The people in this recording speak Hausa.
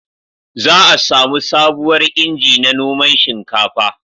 Za a samu sabuwar inji na noman shinkafa